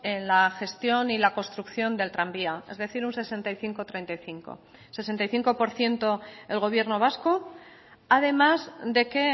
en la gestión y la construcción del tranvía es decir un sesenta y cinco treinta y cinco sesenta y cinco por ciento el gobierno vasco además de que